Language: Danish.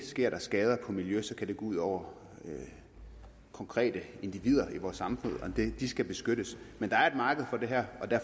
sker der skader på miljøet så kan det gå ud over konkrete individer i vores samfund og de skal beskyttes men der er et marked for det her